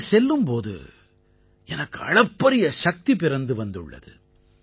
அங்கே செல்லும் போது எனக்கு அளப்பரிய சக்தி பிறந்து வந்துள்ளது